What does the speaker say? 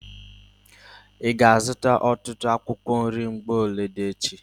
Ị ga-azuta ọtụtụ akwụkwọ nri mgbolodi echi?